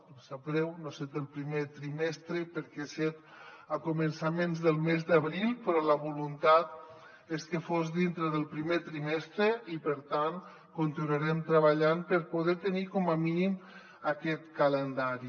em sap greu no ha set el primer trimestre perquè ha set a començaments del mes d’abril però la voluntat és que fos dintre del primer trimestre i per tant continuarem treballant per poder tenir com a mínim aquest calendari